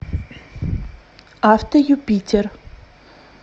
автоюпитер